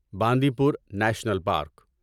باندی پور national park